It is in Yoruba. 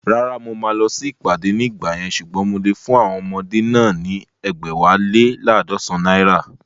Rárá, mo máa lọ sí ìpàdé ní ìgbà yẹn ṣùgbọ́n mo lè fún àwọn ọmọdé náà ní ẹgbẹ̀wálé laadọsan naira